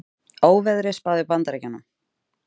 Óveðri spáð í Bandaríkjunum